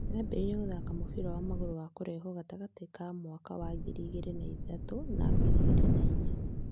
Nĩ ambĩrĩirie gũthaaka mũbira wa magũrũ wa kũrehuo gatagatĩ ka mwaka wa ngiri igĩrĩ na ithatũ na wa ngiri igĩrĩ na inya.